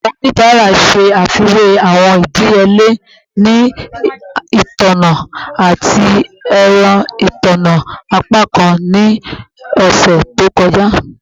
Awọn onibara ṣe afiwe awọn idiyele ni itanna ati ẹrọ itanna apakan ni ọsẹ to kọja